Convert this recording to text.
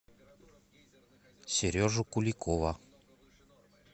сережу куликова